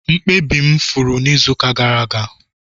Mkpabi m furu n'izuụka gara aga